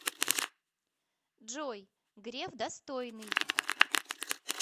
джой греф достойный